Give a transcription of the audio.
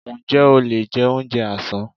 Ǹjẹ́ o lè jẹ oúnjẹ àsán?